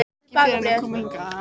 Ekki fyrr en ég kom hingað.